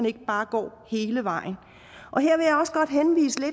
ikke bare går hele vejen